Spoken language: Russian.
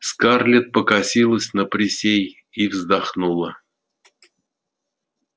скарлетт покосилась на присей и вздохнула